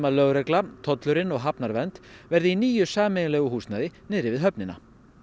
lögregla tollurinn og hafnarvernd verði í nýju sameiginlegu húsnæði niðri við höfnina